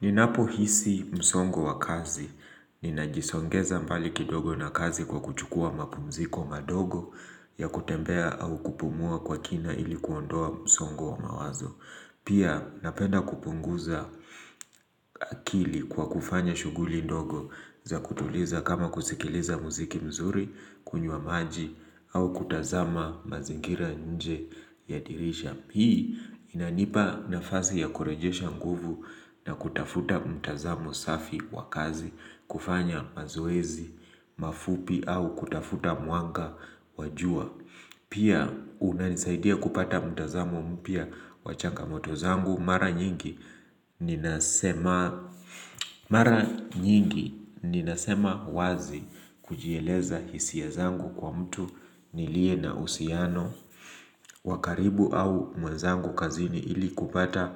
Ninapo hisi msongo wa kazi. Ninajisongeza mbali kidogo na kazi kwa kuchukua mapumziko madogo ya kutembea au kupumua kwa kina ili kuondoa msongo wa mawazo. Pia napenda kupunguza akili kwa kufanya shughuli ndogo za kutuliza kama kusikiliza muziki mzuri, kunywa maji au kutazama mazingira nje ya dirisha. Hii inanipa nafasi ya kurejesha nguvu na kutafuta mtazamo safi wa kazi kufanya mazoezi, mafupi au kutafuta mwanga wa jua. Pia unanisaidia kupata mtazamo mpya wa changamoto zangu mara nyingi ninasema nyingi ninasema wazi kujieleza hisia zangu kwa mtu nilie na uhusiano. Wa karibu au mwezangu kazini ili kupata